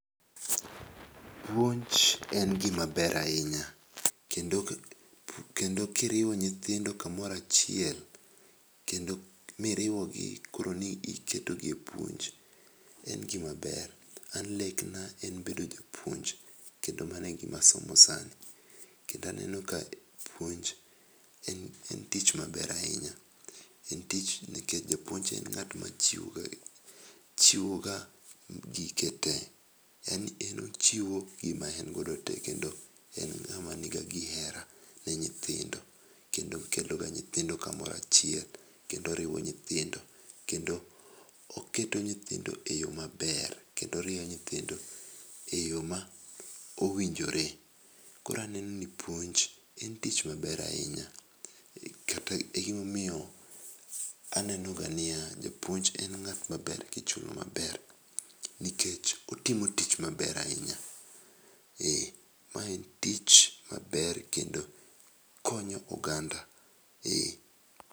Puonj en gima ber ahinya kendo ki iriwo nyithindo ka moro achiel, kendo mi iriwo gi koro ni iketo gi e puonj, en gi maber. an lekna en bedo japuonj kendo ma no e gi ma asomo sani .Kendo aneno ka puonj en tich maber ahinya nikech japuonj en ng'at ma chiwo ga gike te yaani en ochiwo gi ma en go te kendo en ga gi hera ne nyithindo, kendo oketo ga nyithindo ka moro achiel ,kendo oriwo nyithindo ,kendo oketo nyithindo e yoo maber ,kendo orieyo nyithindo e yo ma owinjore. Koro aneno ni pouonj en tich ma ber ahinya kata gima omiyo aneno ga ni ya japuonj en ng'at maber gi chuny maber nikech otimo tich maber ahinya ma en tich maber kendo okonyo oganda.